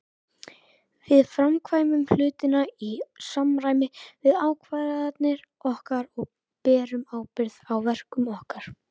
Við framkvæmum hlutina í samræmi við ákvarðanir okkar og berum ábyrgð á verkum okkar.